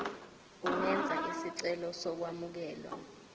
ungenza isicelo sokwamukelwa